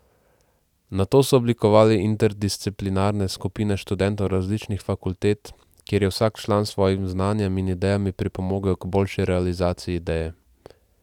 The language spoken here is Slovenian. Nato so oblikovali interdisciplinarne skupine študentov različnih fakultet, kjer je vsak član s svojim znanjem in idejami pripomogel k boljši realizaciji ideje.